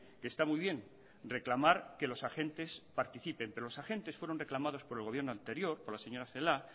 que está muy bien reclamar que los agentes participen pero los agentes fueron reclamados por el gobierno anterior por la señora celáa